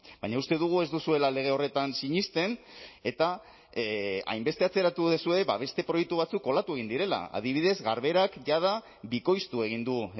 baina uste dugu ez duzuela lege horretan sinesten eta hainbeste atzeratu duzue beste proiektu batzuk kolatu egin direla adibidez garberak jada bikoiztu egin du